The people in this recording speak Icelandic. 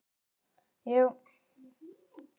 Fólk ekki.